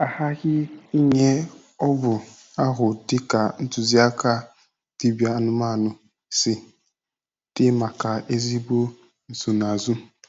A ghaghị inye ọgwụ ahụ dị ka ntụziaka dibịa anụmanụ si dị maka ezigbo nsonaazụ.